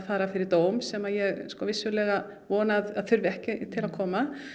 fari fyrir dóm sem ég vissulega vona að þurfi ekki að koma